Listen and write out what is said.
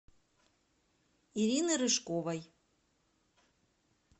ирины рыжковой